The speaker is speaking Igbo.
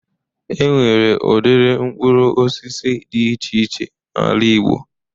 E nwere udiri mkpụrụ osisi dị iche iche n'ala igbo